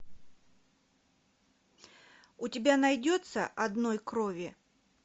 у тебя найдется одной крови